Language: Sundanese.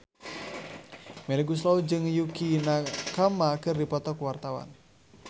Melly Goeslaw jeung Yukie Nakama keur dipoto ku wartawan